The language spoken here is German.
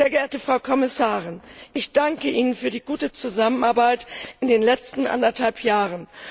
Sehr geehrte Frau Kommissarin, ich danke Ihnen für die gute Zusammenarbeit in den letzten anderthalb Jahren.